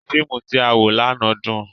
Fiimu ti a wo làná dun.